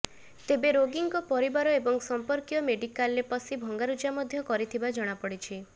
ତେବେ ରୋଗୀଙ୍କ ପରିବାର ଏବଂ ସଂପର୍କୀୟ ମେଡିକାଲରେ ପସି ଭଙ୍ଗାରୁଜା ମଧ୍ୟ କରିଥିବା ଜଣାପଡିଛି